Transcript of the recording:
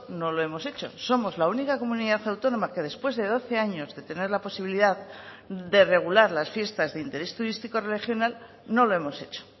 no lo hemos hecho somos la única comunidad autónoma que después de doce años de tener la posibilidad de regular las fiestas de interés turístico regional no lo hemos hecho